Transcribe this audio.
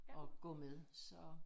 Og gå med så